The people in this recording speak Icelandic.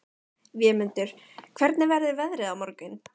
Vémundur, hvernig verður veðrið á morgun?